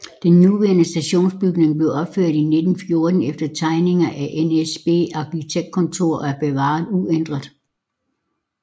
Den nuværende stationsbygning blev opført i 1914 efter tegninger af NSB Arkitektkontor og er bevaret uændret